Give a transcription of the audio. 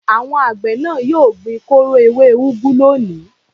Àwọn àgbẹ̀ náà yóò gbin kóró ewé úgú lónìí.